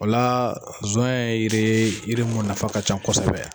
O la zɔyɛn ye yiri ye yiri mun nafa ka can kɔsɛbɛ yan.